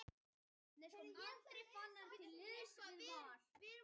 Ég vildi bara frumlegur.